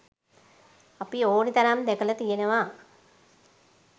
අපි ඕනි තරම් දැකල තියෙනව.